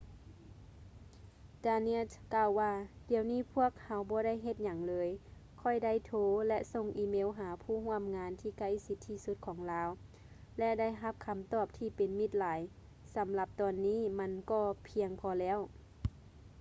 danius ກ່າວວ່າ ດຽວນີ້ພວກເຮົາບໍ່ໄດ້ເຮັດຫຍັງເລີຍ ຂ້ອຍໄດ້ໂທ ແລະ ສົ່ງອີເມວຫາຜູ້ຮ່ວມງານທີ່ໃກ້ຊິດທີ່ສຸດຂອງລາວ ແລະ ໄດ້ຮັບຄຳຕອບທີ່ເປັນມິດຫຼາຍ ສຳລັບຕອນນີ້ມັນກໍພຽງພໍແລ້ວ